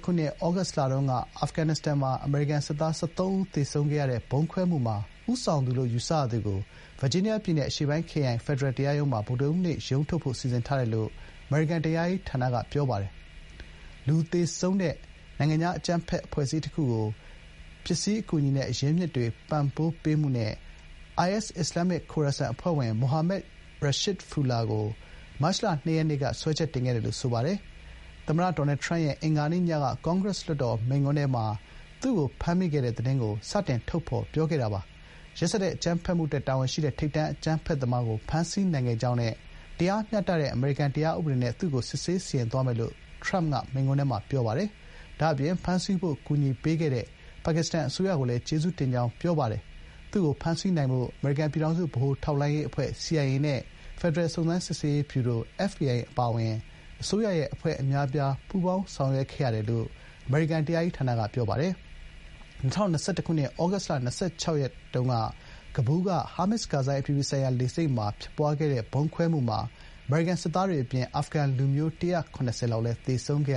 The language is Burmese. ခုနှစ် ဩဂုတ်လတုန်းက အာဖဂန်နစ္စတန်မှာ အမေရိကန်စစ်သား ၁၃ ဦးသေဆုံးခဲ့ရတဲ့ ဗုံးခွဲမှုမှာ ဦးဆောင်သူလို့ ယူဆရသူကို ဗာဂျီးနီးယားပြည်နယ်က အရှေ့ပိုင်း ခရိုင် ဖက်ဒရယ်တရားရုံးမှာ ဗုဒ္ဓဟူးနေ့ ရုံးထုတ်ဖို့ စီစဥ်ထားတယ်လို့ အမေရိကန်တရားရေးဌာနက ပြောပါတယ်။ “လူသေဆုံးစေတဲ့ နိုင်ငံခြားအကြမ်းဖက်အဖွဲ့အစည်းတခုကို ပစ္စည်းအကူအညီနဲ့ အရင်းအမြစ်တွေ ပံ့ပိုးပေးမှု” နဲ့ IS အစ္စလာမ်မစ် ခိုရာဆန် အဖွဲ့ဝင် မိုဟာမက် ရှာရစ်ဖူလာ ခေါ် ဂျာဖာ ကို မတ်လ ၂ ရက်က စွဲချက်တင်ခဲ့တယ်လို့ ဆိုပါတယ်။ သမ္မတ ဒေါ်နယ် ထရမ့်ရဲ့ အင်္ဂါနေ့ညက ကွန်ဂရက်စ်လွှတ်တော် မိန့်ခွန်းထဲမှာ ရှာရစ်ဖူလာကို ဖမ်းမိခဲ့တဲ့ သတင်းကို ထုတ်ဖော် ပြောကြားခဲ့တာပါ။ “ရက်စက် အကြမ်းဖက်မှုအတွက် တာဝန်ရှိတဲ့ ထိပ်တန်းအကြမ်းဖက်သမားကို ဖမ်းဆီးနိုင်ခဲ့ကြောင်းနဲ့ တရားမျှတတဲ့ အမေရိကန် တရားဥပဒေနဲ့ သူ့ကို စစ်ဆေး စီရင်သွားမယ်လို့ ” ထရမ့်က မိန့်ခွန်းထဲမှာ ပြောပါတယ်။ ဒါ့အပြင် “ဖမ်းဆီးဖို့ ကူညီပေးခဲ့တဲ့ ပါကစ္စတန်အစိုးရကိုလည်း ကျေးဇူးတင်” ကြောင်း ပြောပါတယ်။ သူ့ကို ဖမ်းဆီးနိုင်ဖို့ အမေရိကန် ပြည်ထောင်စုဗဟိုထောက်လှမ်းရေးအဖွဲ့ (CIA) နဲ့ ဖက်ဒရယ် စုံစမ်းစစ် ဆေးရေးဗျူရို (FBI) အပါအဝင် အစိုးရ အဖွဲ့အများအပြား ပူးပေါင်းဆောင်ရွက်ခဲ့တယ်လို့ အမေရိကန် တရားရေးဌာနက ပြောပါတယ်။ ၂၀၂၁ ခုနှစ် ဩဂုတ်လ ၂၆ ရက်က ကဘူးလ်ရှိ ဟာမစ် ကာဇိုင်း အပြည်ပြည်ဆိုင်ရာ လေဆိပ်မှာ ဖြစ်ပွားခဲ့တဲ့ ဗုံးခွဲမှုမှာ အမေရိကန် စစ်သားတွေ အပြင် အာဖဂန်လူမျိုး ၁၇၀ ဝန်းကျင်လည်း သေဆုံးခဲ့